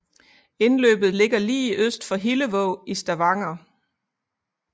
Indløbet ligger lige øst for Hillevåg i Stavanger